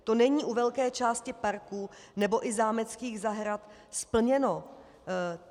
To není u velké části parků nebo i zámeckých zahrad splněno.